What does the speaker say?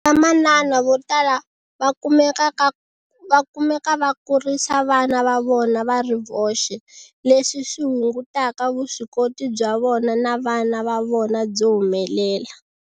Vamanana vo tala va kumeka va kurisa vana va vona va ri voxe, leswi swi hungutaka vuswikoti bya vona na vana va vona byo humelela.